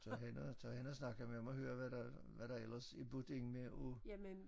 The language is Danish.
Tag hen og tag hen og snakke med dem og høre hvad der hvad der eller er budt ind med af